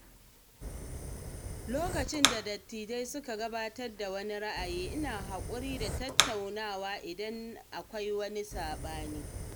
Lokacin da dattijai suka gabatar da wani ra’ayi, ina haƙuri da tattaunawa idan na akwai saɓani.